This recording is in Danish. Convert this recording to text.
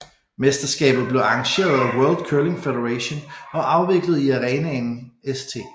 Mesterskabet blev arrangeret af World Curling Federation og afviklet i arenaen St